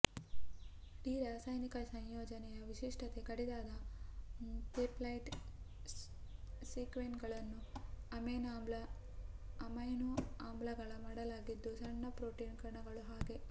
D ರಾಸಾಯನಿಕ ಸಂಯೋಜನೆಯ ವಿಶಿಷ್ಟತೆ ಕಡಿದಾದ ಪೆಪ್ಟೈಡ್ ಸೀಕ್ವೆನ್ಸ್ಗಳನ್ನು ಅಮೈನೊ ಆಮ್ಲಗಳ ಮಾಡಲಾಗಿದ್ದು ಸಣ್ಣ ಪ್ರೋಟೀನು ಕಣಗಳ ಹಾಗೆ